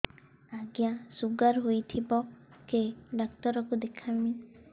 ଆଜ୍ଞା ଶୁଗାର ହେଇଥିବ କେ ଡାକ୍ତର କୁ ଦେଖାମି